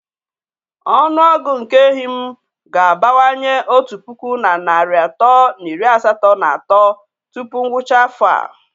Ọnụ ọgụgụ nke ehi m ga-abawanye otu puku na narị atọ na iri asatọ na atọ tupu ngwụcha afọ a.